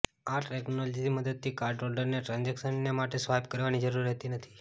આ ટેક્નોલોજીની મદદથી કાર્ડ હોલ્ડરને ટ્રાન્ઝેક્શનને માટે સ્વાઈપ કરવાની જરૂર રહેતી નથી